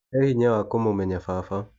He hinya wa kũmũmenya baba.